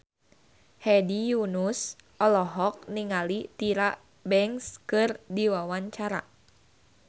Hedi Yunus olohok ningali Tyra Banks keur diwawancara